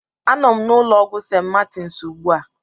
Anọ m na ụlọ ọgwụ St. Martins ugbu a.